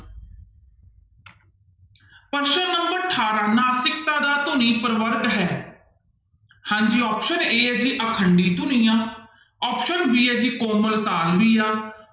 ਪ੍ਰਸ਼ਨ number ਅਠਾਰਾਂ ਨਾਸਿਕਤਾ ਦਾ ਧੁਨੀ ਪ੍ਰਵਰਗ ਹੈ ਹਾਂਜੀ option a ਹੈ ਜੀ ਅਖੰਡੀ ਧੁਨੀਆਂ option b ਹੈ ਜੀ ਕੋਮਲ ਤਾਲਵੀਆਂ